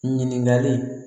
Ɲininkali